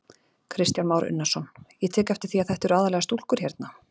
Kristján Már Unnarsson: Ég tek eftir því að þetta eru aðallega stúlkur hérna?